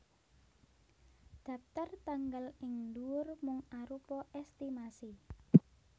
Dhaptar tanggal ing ndhuwur mung arupa èstimasi